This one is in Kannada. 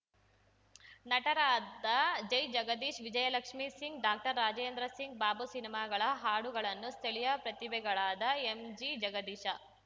ನಟರಾದ ಜೈಜಗದೀಶ್‌ ವಿಜಯಲಕ್ಷ್ಮೀ ಸಿಂಗ್‌ ಡಾಕ್ಟರ್ರಾಜೇಂದ್ರ ಸಿಂಗ್‌ ಬಾಬು ಸಿನಿಮಾಗಳ ಹಾಡುಗಳನ್ನೂ ಸ್ಥಳೀಯ ಪ್ರತಿಭೆಗಳಾದ ಎಂಜಿಜಗದೀಶ